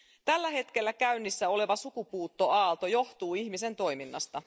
Tällä hetkellä käynnissä oleva sukupuuttoaalto johtuu ihmisen toiminnasta.